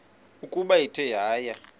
ukuba ithe yaya